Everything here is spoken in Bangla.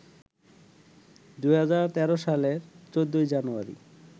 ২০১৩ সালের ১৪ জানুয়ারি